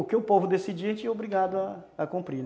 O que o povo decidir, a gente é obrigado a a cumprir.